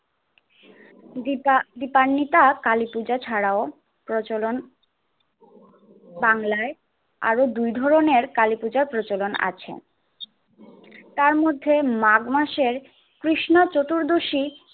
দীপা~ দীপান্বিতা কালীপূজা ছাড়াও প্রচলন বাংলায় আরো দুই ধরনের কালীপূজার প্রচলন আছে তার মধ্যে মাঘ মাসের কৃষ্ণ চতুর্দশী